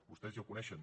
vostès ja ho coneixen